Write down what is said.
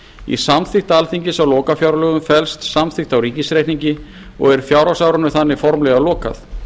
í samþykkt alþingis á lokafjárlögum felst samþykkt á ríkisreikningi og er fjárhagsárinu þar með formlega lokað